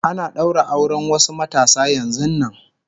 Ana ɗaura auren wasu matasa yanzun nan